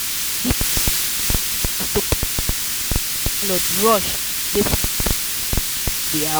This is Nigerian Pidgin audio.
the ten ant quick notice to pack comot make the landlord rush dey find new person to rent the house.